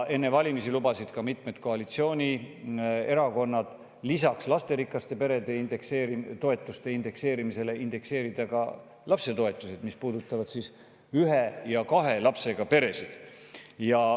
Enne valimisi lubasid mitmed koalitsioonierakonnad lisaks lasterikka pere toetuse indekseerimisele indekseerida ka lapsetoetus, mis puudutab ka ühe ja kahe lapsega peresid.